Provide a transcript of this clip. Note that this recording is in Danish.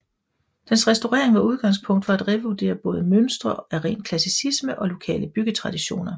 Dens restaurering var udgangspunkt for at revurdere både mønstre af ren klassicisme og lokale byggetraditioner